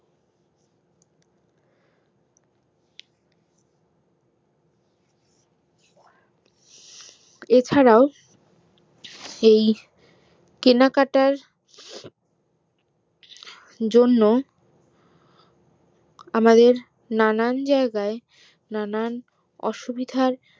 এছাড়াও এই কেনাকাটার জন্য আমাদের নানান জায়গায় নানান অসুবিধার